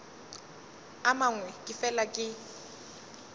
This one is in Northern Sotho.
a mangwe ke fela ke